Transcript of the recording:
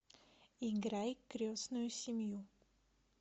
играй крестную семью